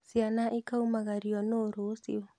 ciana ikaumagario nũũ rũciũ?